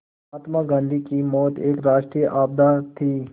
महात्मा गांधी की मौत एक राष्ट्रीय आपदा थी